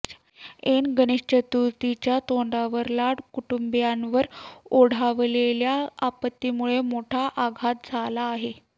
ऐन गणेश चतुर्थीच्या तोंडावर लाड कुटुंबियांवर ओढावलेल्या आपत्तीमुळे मोठा आघात झाला आहे